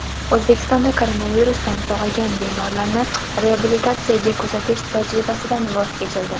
O‘zbekistonda koronavirusdan sog‘aygan bemorlarni reabilitatsiyaga kuzatish tajribasidan voz kechildi.